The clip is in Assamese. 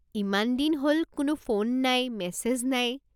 ইমান দিন হ'ল, কোনো ফোন নাই, মেছেজ নাই।